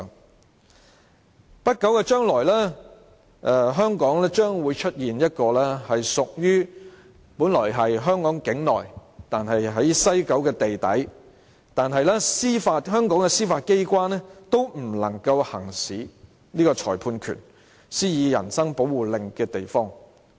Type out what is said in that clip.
在不久的將來，香港將會出現一個本來屬於香港境內、位處西九龍地底，但香港的司法機關也無法行使裁判權、施以人身保護令的地方。